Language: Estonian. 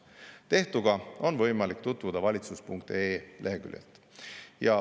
Tehtuga on võimalik tutvuda valitsus.ee leheküljel.